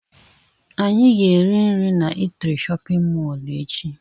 Anyị ga-eri nri na eatri shóppin mol echi.